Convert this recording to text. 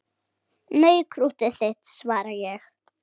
Nei, krúttið þitt, svaraði ég.